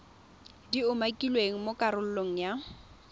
di umakilweng mo karolong ya